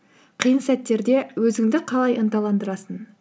қиын сәттерде өзіңді қалай ынталандырасың